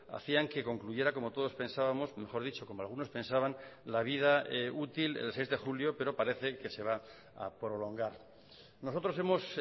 hacían que concluyera como todos pensábamos mejor dicho como algunos pensaban la vida útil el seis de julio pero parece que se va a prolongar nosotros hemos